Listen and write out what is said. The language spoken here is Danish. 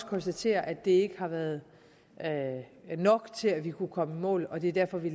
konstatere at det ikke har været nok til at kunne komme i mål og det er derfor at vi